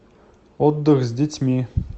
отдых с детьми